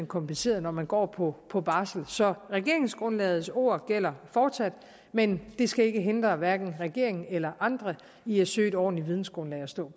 kompenseret når man går på på barsel så regeringsgrundlagets ord gælder fortsat men det skal ikke hindre hverken regeringen eller andre i at søge et ordentligt vidensgrundlag at stå